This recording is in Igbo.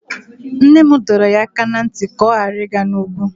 Nne m dọrọ ya aka ná ntị ka ọ ghara ịga n'ugwu.